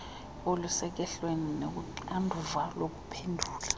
olusekuhleni nolunoxanduva lokuphendula